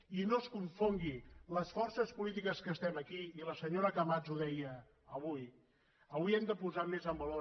i no es confongui les forces polítiques que estem aquí i la senyora camats ho deia avui avui hem de posar més en valor